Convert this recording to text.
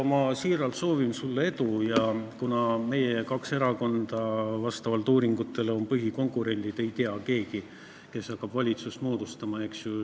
Kuna vastavalt uuringutele on meie kaks erakonda põhikonkurendid, siis ei tea keegi, kes hakkab valitsust moodustama.